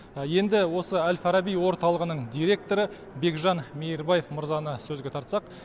енді осы әл фараби орталығының директоры бекжан мейірбаев мырзаны сөзге тартсақ